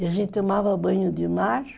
E a gente tomava banho de mar.